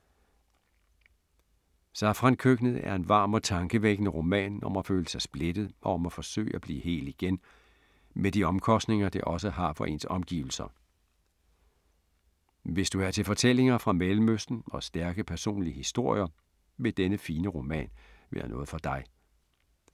Safrankøkkenet er en varm og tankevækkende roman om at føle sig splittet og om at forsøge at blive hel igen, med de omkostninger det også har for ens omgivelser. Hvis du er til fortællinger fra Mellemøsten og stærke personlige historier, vil denne fine roman være noget for dig.